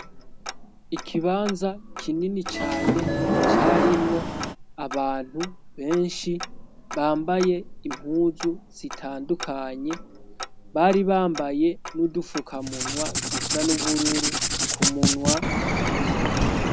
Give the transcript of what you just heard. Ikibanza kinini cane carimwo abantu benshi bambaye impuzu sitandukanye bari bambaye n'udufuka munwa dusa n'ubururu ku munwa nyene.